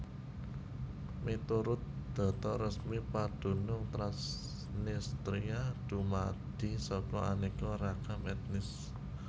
Miturut data resmi padunung Transnistria dumadi saka aneka ragam etnis